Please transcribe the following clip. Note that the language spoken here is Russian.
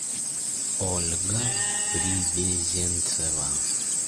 ольга привезенцева